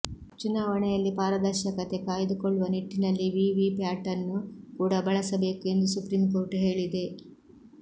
ಚುನಾವಣೆಯಲ್ಲಿ ಪಾರದರ್ಶಕತೆ ಕಾಯ್ದುಕೊಳ್ಳುವ ನಿಟ್ಟಿನಲ್ಲಿ ವಿವಿಪ್ಯಾಟನ್ನು ಕೂಡಾ ಬಳಸಬೇಕು ಎಂದು ಸುಪ್ರೀಂಕೋರ್ಟ್ ಹೇಳಿದೆ